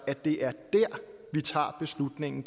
at det er dér vi tager beslutningen